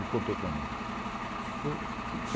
Ele contou para mim. Eu